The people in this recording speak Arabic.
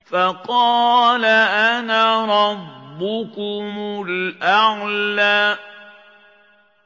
فَقَالَ أَنَا رَبُّكُمُ الْأَعْلَىٰ